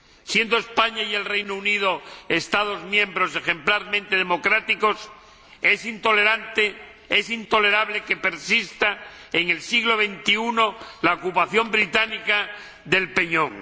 Siendo España y el Reino Unido Estados miembros ejemplarmente democráticos, es intolerable que persista, en el siglo XXI, la ocupación británica del peñón.